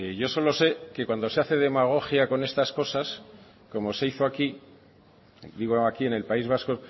yo solo sé que cuando se hace demagogia con estas cosas como se hizo aquí digo aquí en el país vasco